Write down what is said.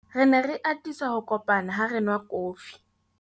Re ne re atisa ho kopana ha re nwa kofi.